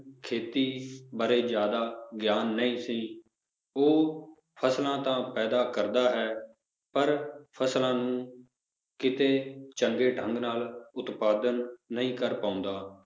ਖੇਤੀ ਬਾਰੇ ਜ਼ਿਆਦ ਗਿਆਨ ਨਹੀਂ ਸੀ ਉਹ ਫਸਲਾਂ ਤਾਂ ਪੈਦਾ ਕਰਦਾ ਹੈ ਪਰ ਫਸਲਾਂ ਨੂੰ ਕਿਤੇ ਚੰਗੇ ਢੰਗ ਨਾਲ ਉਤਪਾਦਨ ਨਹੀਂ ਕਰ ਪਾਉਂਦਾ